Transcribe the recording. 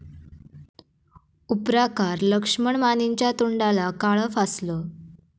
उपराकार लक्ष्मण मानेंच्या तोंडाला काळं फासलं